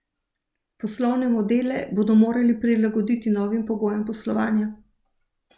Poslovne modele bodo morale prilagoditi novim pogojem poslovanja.